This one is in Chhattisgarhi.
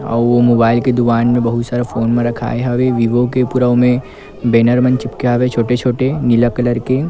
अउ मोबाइल के दुकान बहुत सारे फ़ोन रखाए हवे वीवो के पूरा ओमे बैनर मन चिपके हवे छोटे-छोटे नीला कलर के--